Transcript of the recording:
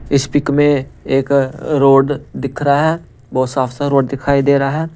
इस पिक में एक रोड दिख रहा है बहुत साफ़ सा रोड दिखाई दे रहा है।